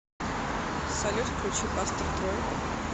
салют включи пастор трой